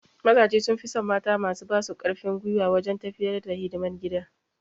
Mazaje sun fi son mata masu ba su karfin gwiwa wajen tafiyar da hidiman gida